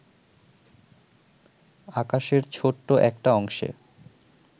আকাশের ছোট্ট একটা অংশে